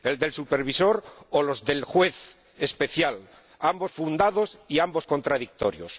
El del supervisor o los del Juez especial, ambos fundados y ambos contradictorios.